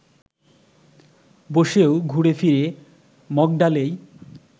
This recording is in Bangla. বসেও ঘুরেফিরে মগডালেই